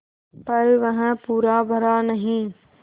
पर वह पूरा भरा नहीं